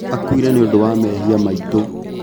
Akuire nĩundũ wa mehia maitũ